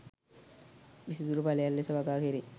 විසිතුරු පැලයක් ලෙස වගා කැරේ